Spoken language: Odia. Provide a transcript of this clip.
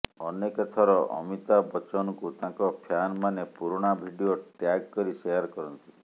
ଅନେକ ଥର ଅମିତାଭ ବଚ୍ଚନଙ୍କୁ ତାଙ୍କ ଫ୍ୟାନ ମାନେ ପୁରୁଣା ଭିଡିଓ ଟ୍ୟାଗ୍ କରି ସେୟାର କରନ୍ତି